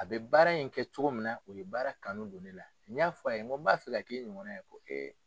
A bɛ baara in kɛ cogo min na o ye baara kanu don ne la n y'a fɔ a ye n b'a fɛ k'i nin ɲɔgɔn na ye, ko